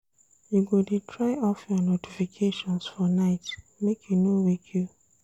You go dey try off your notifications for night make e no wake you.